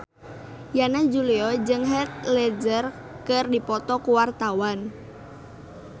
Yana Julio jeung Heath Ledger keur dipoto ku wartawan